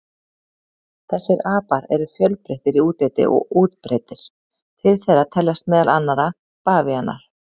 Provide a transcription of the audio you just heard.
Þessir apar eru fjölbreyttir í útliti og útbreiddir, til þeirra teljast meðal annarra bavíanar.